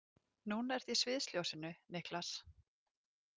Núna ertu í sviðsljósinu, Niklas.